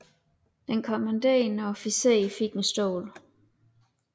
Den kommanderende officer fik en stol